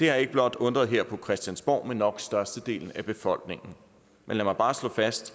har ikke blot undret os her på christiansborg men nok størstedelen af befolkningen men lad mig bare slå fast